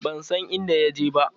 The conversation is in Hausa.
Ban san inda ya je ba.